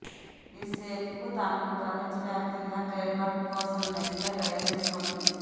ఈ షేప్కు తనకు ప్రపంచ వ్యాప్తంగా ట్రేడ్మార్క్ కోసం నెస్లే ప్రయత్నిస్తోంది